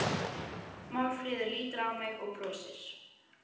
Málfríður lítur á mig og brosir.